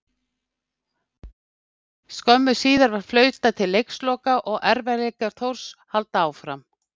Skömmu síðar var flautað til leiksloka og erfiðleikar Þórs halda áfram.